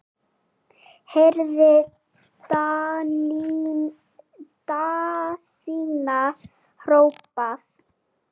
heyrði Daðína hrópað.